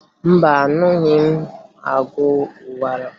Mba, aṅụghị m ọgwụ ụkwara